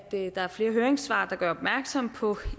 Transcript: der er flere høringssvar der gør opmærksom på